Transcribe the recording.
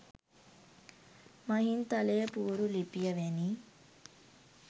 මහින්තලේ පුවරු ලිපිය වැනි